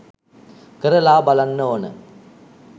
කරලා බලන්න ඕන.